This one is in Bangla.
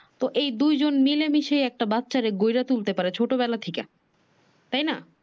তো এই দুইজন মিলে মিশে বাচ্চারে গইড়া তোলতে পারে ছোট বেলা থেইকা তাই না।